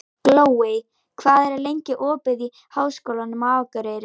Glóey, hvað er lengi opið í Háskólanum á Akureyri?